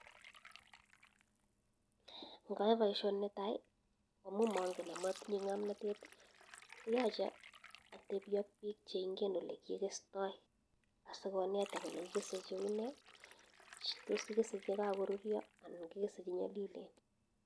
Ngaee baishoo neetaii amuu mangen akomatinyee ngamnatet koyache atepii ak biik che ingen olekikestaii asikoneta kolee kikesee chee unee tos kikesee chee kakorurya ana kikese che nyalilen